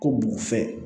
Ko b'u fɛ